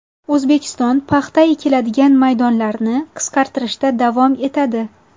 O‘zbekiston paxta ekiladigan maydonlarni qisqartirishda davom etadi.